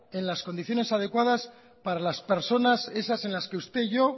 en las condiciones adecuadas para las personas esas en las que usted y yo